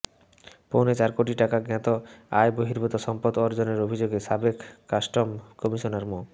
পৌনে চার কোটি টাকা জ্ঞাত আয়বহির্ভূত সম্পদ অর্জনের অভিযোগে সাবেক কাস্টম কমিশনার মো